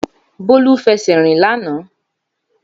Bólú fẹsẹ̀ rìn lánàá